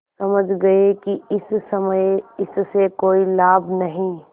समझ गये कि इस समय इससे कोई लाभ नहीं